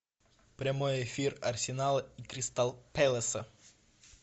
прямой эфир арсенала и кристал пэласа